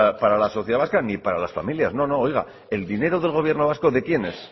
para la sociedad vasca ni para las familias no no oiga el dinero del gobierno vasco de quién es